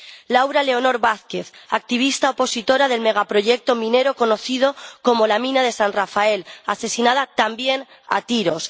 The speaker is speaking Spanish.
Laura Leonor Vázquez, activista opositora del megaproyecto minero conocido como la Mina de San Rafael, asesinada también a tiros.